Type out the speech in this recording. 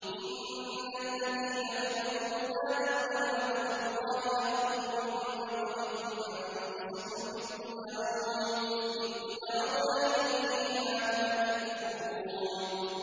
إِنَّ الَّذِينَ كَفَرُوا يُنَادَوْنَ لَمَقْتُ اللَّهِ أَكْبَرُ مِن مَّقْتِكُمْ أَنفُسَكُمْ إِذْ تُدْعَوْنَ إِلَى الْإِيمَانِ فَتَكْفُرُونَ